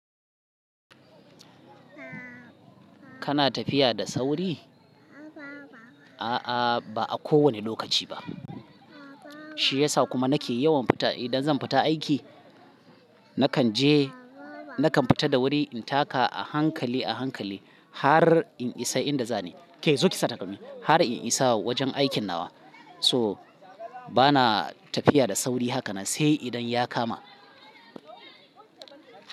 Kana tafiya da sauri? A'a, ba a kowane lokaci ba. Shi yasa kuma nake yawan fita. Idan zan fita aiki, nakan je, nakan fita da wuri in taka a hankali, a hankali har in isa inda zan je. Ke zo ki sa takalmi, har in isa wajen aikin nawa. So bana tafiya da sauri hakanan sai idan ya kama.